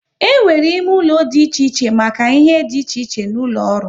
E nwere ime ụlọ dị iche iche make ihe dị iche iche n'ụlọ ọrụ